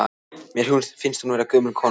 Mér finnst hún vera gömul kona.